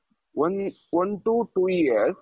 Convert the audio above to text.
one, one to two years,